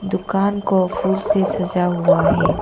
दुकान को फूल से सजा हुआ है।